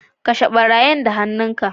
Kashe barayin da han'nu ka.